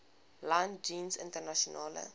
land jeens internasionale